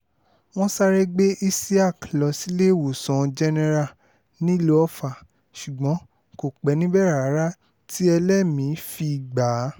wọ́n sáré gbé isiaq lọ síléèwòsàn jẹ́nẹ́ra nílùú ọfà ṣùgbọ́n kò pẹ́ níbẹ̀ rárá tí ẹlẹ́mì-ín fi gbà á